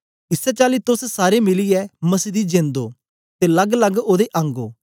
इसै चाली तोस सारे मिलीयै मसीह दी जेंद ओ ते लगलग ओदे अंग ओ